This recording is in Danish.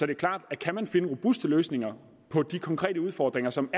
det klart at kan man finde robuste løsninger på de konkrete udfordringer som